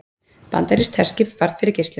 Bandarískt herskip varð fyrir geislum